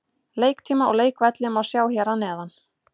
Leiktíma og leikvelli má sjá hér að neðan.